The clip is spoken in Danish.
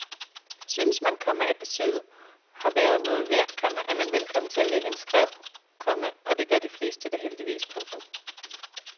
Synes man, komma at besøget har været noget værd, komma er man velkommen til at lægge en skræv, komma og det gør de fleste da heldigvis. punktum